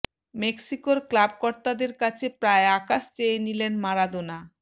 মেক্সিকোর ক্লাব কর্তাদের কাছে প্রায় আকাশ চেয়ে নিলেন মারাদোনা